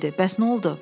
Bəs nə oldu?